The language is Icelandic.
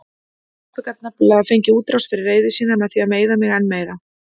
Pabbi gat nefnilega fengið útrás fyrir reiði sína með því að meiða mig enn meira.